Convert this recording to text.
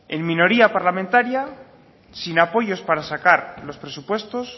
en minoría parlamentaria sin apoyos para sacar los presupuestos